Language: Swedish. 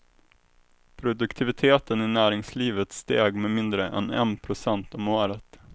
Produktiviteten i näringslivet steg med mindre än en procent om året.